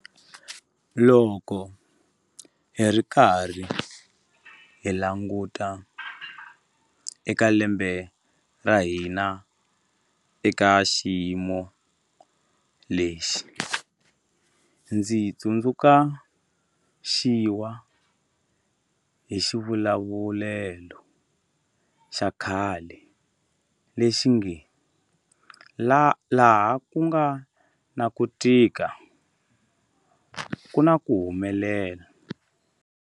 Loko hi karhi hi languta eka lembe ra hina eka xiyimo lexi, ndzi tsundzu xiwa hi xivulavulelo xa khale lexi nge 'laha ku nga na ku tika ku na ku humelela'.